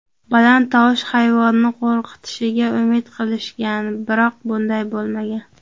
Baland tovush hayvonni qo‘rqitishiga umid qilishgan, biroq bunday bo‘lmagan.